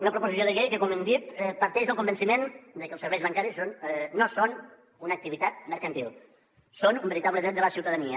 una proposició de llei que com hem dit parteix del convenciment de que els serveis bancaris no són una activitat mercantil són un veritable dret de la ciutadania